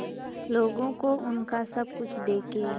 लोगों को उनका सब कुछ देके